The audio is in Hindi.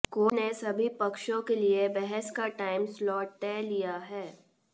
कोर्ट ने सभी पक्षों के लिए बहस का टाइम स्लॉट तय लिया है